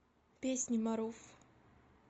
песни маруф